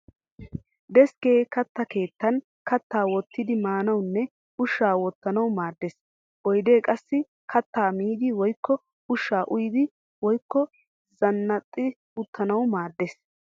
Deskkee katta keettan kattaa wottidi maanawunne ushshaa wottanawu maaddes. Oyidee qassi kattaa miiddi woyikko ushshaa uyiiddi woyikko xanna'iidi uttanawu maaddes.